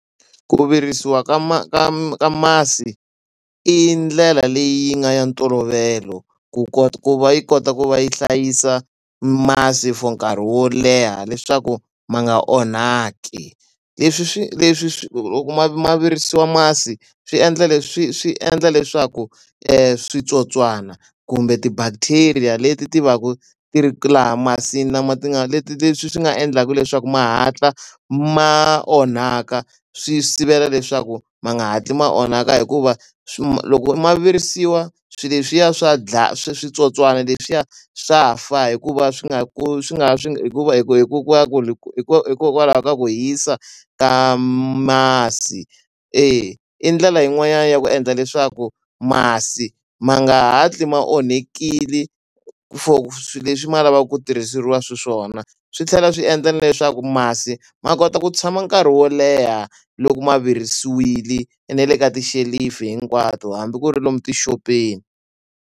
Ku virisiwa ka ka ka masi i ndlela leyi nga ya ntolovelo ku ku va yi kota ku va yi hlayisa masi for nkarhi wo leha leswaku ma nga onhaki. Leswi swi leswi swi loko ma ma virisiwa masi swi endla swi endla leswaku switsotswana kumbe ti-bacteria leti ti va ku ti ri laha masini lama nga leti ti leswi swi nga endlaka leswaku ma hatla ma onhaka, swi sivela leswaku ma nga hatli ma onhaka. Hikuva loko ma virisiwa swilo leswiya swa switsotswana leswiya swa fa hikuva swi nga swi nga swi hikuva hikokwalaho ka ku hisa ka masi. E, i ndlela yin'wani ya ku endla leswaku masi ma nga hatli ma onhakile for swilo leswi ma lavaka ku tirhisiwa xiswona. Swi tlhela swi endla na leswaku masi ma kota ku tshama nkarhi wo leha loko ma virisiwile na le ka tixelufu hinkwato hambi ku ri lomu tixopeni.